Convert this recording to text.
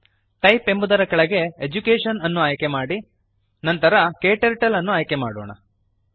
type ಎಂಬುದರ ಕೆಳಗೆ education ಅನ್ನು ಆಯ್ಕೆ ಮಾಡಿ ನಂತರ ಕ್ಟರ್ಟಲ್ ಅನ್ನು ಆಯ್ಕೆ ಮಾಡೋಣ